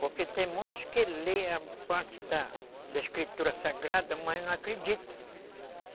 Porque tem muitos que lê a parte da da escritura sagrada, mas não acreditam.